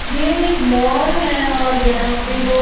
ये एक मॉल हैं और यहाँ पे लोग--